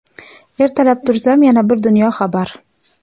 Ertalab tursam yana bir dunyo xabar.